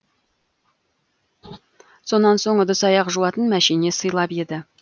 сонан соң ыдыс аяқ жуатын мәшине сыйлап еді